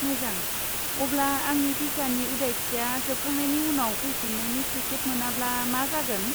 मोजां, अब्ला आंनि भिसानि उदायथिया जोबखांनायनि उनाव फैफिन्नायनि टिकेट मोनाब्ला मा जागोन?